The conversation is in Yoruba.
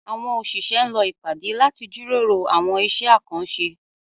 Àwọn òṣìṣẹ́ ń lọ ìpàdé láti jíròrò àwọn iṣẹ́ àkànṣe